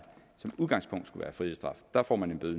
som udgangspunkt skulle være frihedsstraf der får man en bøde